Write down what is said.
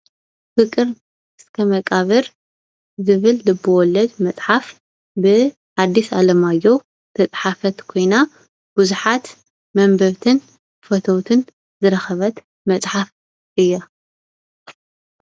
ፍቅር እስከ መቃብር ዝብል ልበ ወልድ መፅሓፍ ብኣዲስ ኣለማዮህ ዝተፅሓፈት ኮይና ብዙሓት መንበብትን ፈተዉትን ዝረከበት መፅሓፍ እያ ።